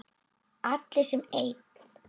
Allar sem ein.